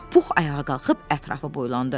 Pux ayağa qalxıb ətrafı boylandı.